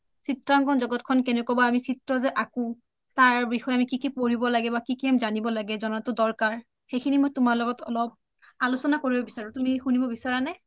চিএখন জগতখন কেনেকুৱা বা আমি চিএ যে আকো তাৰ বিষেয়ে কি কি পঢ়িব লাগে কি কি জানিব লাগে জনাটো আমি দৰকাৰ সেইসিনি তোমাৰ লগত মই অলপ আলোচনা কৰিব বিচাৰো তুমি শুনিব বিচৰা নে?